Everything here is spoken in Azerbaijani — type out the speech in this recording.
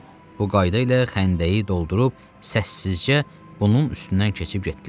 Bu qayda ilə xəndəyi doldurub səssizcə bunun üstündən keçib getdilər.